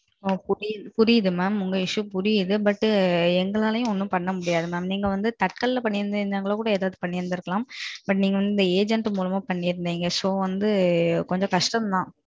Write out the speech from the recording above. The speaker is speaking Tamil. okay புரியுது புரியுது mam. உங்க issue புரியுது. but எண்களாலேயும் ஒன்னும் பண்ண முடியாது mam. நீங்க வந்து Tatkalல பண்ணி இருந்த கூட ஏதாச்சும் பண்ணிருக்கலாம். but, நாங்க agent மூலமா பண்ணிருக்கீங்க. so வந்து கொஞ்ச கஷ்டம்தான்